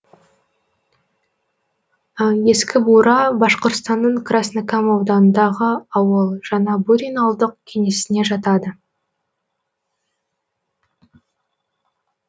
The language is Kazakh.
ескі бура башқұртстанның краснокам ауданындағы ауыл жаңа бурин ауылдық кеңесіне жатады